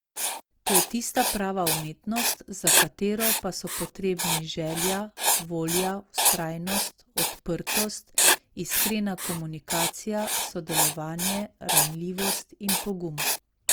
To je tista prava umetnost, za katero pa so potrebni želja, volja, vztrajnost, odprtost, iskrena komunikacija, sodelovanje, ranljivost in pogum.